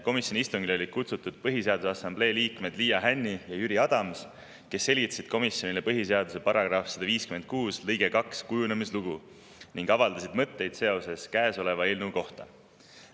Komisjoni istungile olid kutsutud Põhiseaduse Assamblee liikmed Liia Hänni ja Jüri Adams, kes selgitasid komisjonile põhiseaduse § 156 lõike 2 kujunemislugu ning avaldasid mõtteid käesoleva eelnõu kohta.